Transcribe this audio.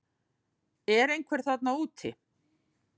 Er einhver þarna úti